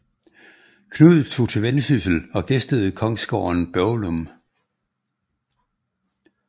Knud tog til Vendsyssel og gæstede kongsgården Børglum